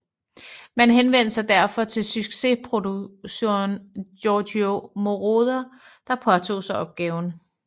Man henvendte sig derfor til succesproduceren Giorgio Moroder der påtog sig opgaven